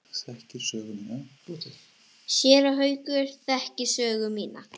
Séra Haukur þekkir sögu mína.